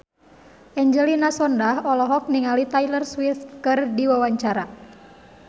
Angelina Sondakh olohok ningali Taylor Swift keur diwawancara